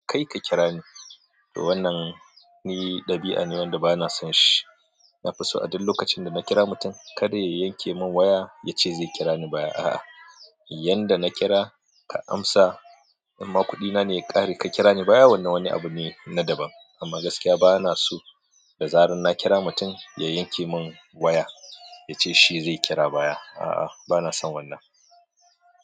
Kai ka kira ni. Wannan ni ɗabi'a ne wanda ba na son shi. Na fi so a duk lokacin da na kira mutum, kada ya yanke mun waya ya ce zai kira ni baya. A'a, yanda na kira ka amsa, amma kuɗina ne ya ƙare ka kira ni baya wannan wani abu ne na daban. Amma gaskiya ba na so da zarar na kira mutum ya yanke mun waya ya ce shi zai kira baya. A'a, ba na son wannan.